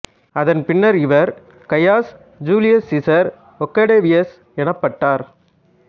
அதன் பின்னர் இவர் கையஸ் ஜூலியஸ் சீசர் ஒக்டேவியஸ் எனப்பட்டார்